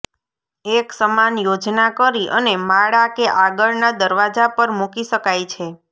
એક સમાન યોજના કરી અને માળા કે આગળના દરવાજા પર મૂકી શકાય છે